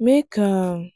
make um